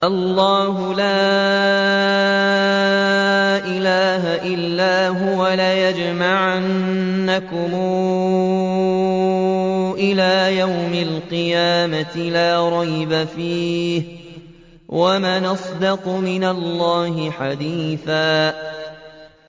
اللَّهُ لَا إِلَٰهَ إِلَّا هُوَ ۚ لَيَجْمَعَنَّكُمْ إِلَىٰ يَوْمِ الْقِيَامَةِ لَا رَيْبَ فِيهِ ۗ وَمَنْ أَصْدَقُ مِنَ اللَّهِ حَدِيثًا